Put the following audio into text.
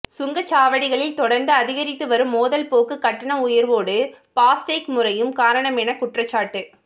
சுங்கச்சாவடிகளில் தொடா்ந்து அதிகரித்து வரும் மோதல் போக்கு கட்டண உயா்வோடு பாஸ்டேக் முறையும் காரணமென குற்றச்சாட்டு